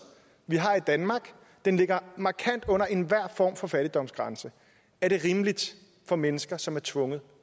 vi har i danmark den ligger markant under enhver form for fattigdomsgrænse er det rimeligt for mennesker som er tvunget